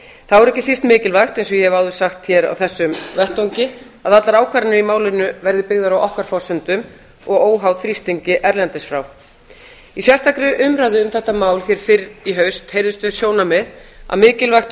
þá er ekki síst mikilvægt eins og ég hef áður sagt hér á þessum vettvangi að allar ákvarðanir í málinu verði byggðar á okkar forsendum og óháðar þrýstingi erlendis frá í sérstakri umræðu um þetta mál fyrr í haust heyrðust þau sjónarmið að mikilvægi